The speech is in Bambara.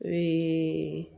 Ee